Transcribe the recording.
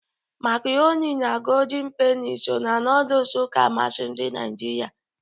Makarọni na Godin Peni so na nọdụs ka amasị ndị Naịjirịa.